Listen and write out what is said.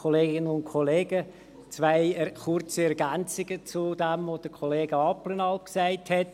Zwei kurze Ergänzungen zu dem, was Kollega Abplanalp gesagt hat.